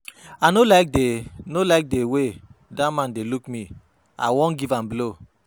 I no like the no like the way dat man dey look me. I wan give am blow.